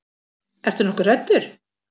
Ertu nokkuð hræddur?